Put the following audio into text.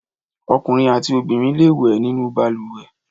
Ọkùnrin àti obìnrin le wẹ̀ nínú balùwẹ̀.